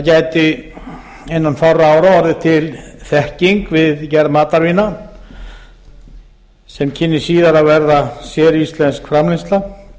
gæti innan fárra ára orðið til þekking við gerð matarvína sem kynni síðar að verða séríslensk framleiðsla